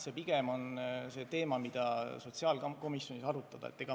See pigem on teema, mida tuleks sotsiaalkomisjonis arutada.